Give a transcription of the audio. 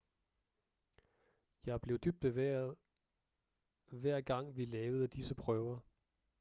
jeg blev dybt bevæget hver gang vi lavede disse prøver